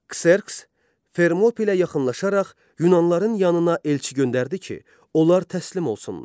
Kserks Fermopilə yaxınlaşaraq Yunanların yanına elçi göndərdi ki, onlar təslim olsunlar.